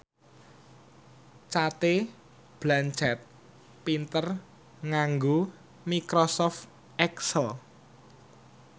Cate Blanchett pinter nganggo microsoft excel